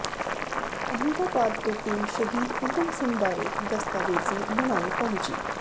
ਅਹਿਮਦਾਬਾਦ ਤੋਂ ਟੀਮ ਸ਼ਹੀਦ ਊਧਮ ਸਿੰਘ ਬਾਰੇ ਦਸਤਾਵੇਜ਼ੀ ਬਣਾਉਣ ਪਹੁੰਚੀ